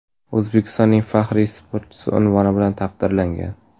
O‘zbekistonning faxriy sportchisi unvoni bilan taqdirlangan.